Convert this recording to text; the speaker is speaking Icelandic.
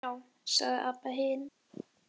Já, sagði Abba hin.